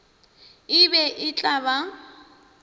e be e tla ba